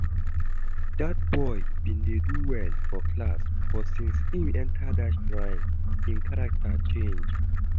Dat boy bin dey do well for class but since im enter that shrine im character change